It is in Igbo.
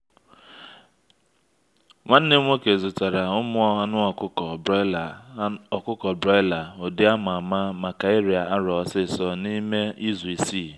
nwanne m'woke zụtara ụmụ anụ ọkụkọ broiler ọkụkọ broiler ụdị a ma ama maka ịrịa arọ osisor n’ime izu isii.